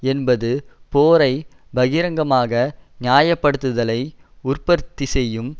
என்பது போரை பகிரங்கமாக நியாயப்படுத்துதலை உற்பத்தி செய்யும்